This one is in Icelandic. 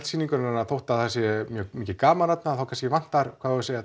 sýningarinnar að þótt það sé mjög mikið gaman þarna þá kannski vantar